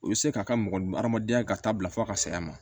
I bɛ se k'a ka mɔgɔ hadamadenya ka taa bila fo a ka saya ma